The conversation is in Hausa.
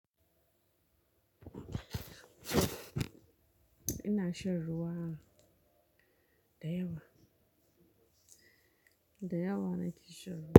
Ina shan ruwa, da yawa, da yawa na ke shan ruwa.